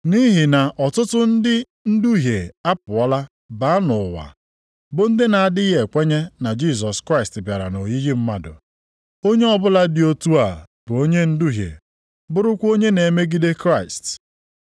Nʼihi na ọtụtụ ndị nduhie apụọla baa nʼụwa, bụ ndị na-adịghị ekwenye na Jisọs Kraịst bịara nʼoyiyi mmadụ. Onye ọbụla dị otu a bụ onye nduhie bụrụkwa onye na-emegide Kraịst.